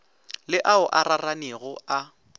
le ao a raranego a